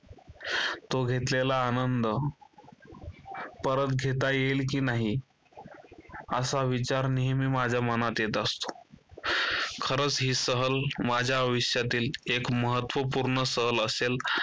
तो घेतलेला आनंद परत घेता येईल की नाही असा विचार नेहमी माझ्या मनात येत असतो. खरच ही सहल माझ्या आयुष्यातील एक महत्त्वपूर्ण सहल असेल.